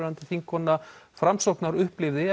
þingkona Framsóknar upplifði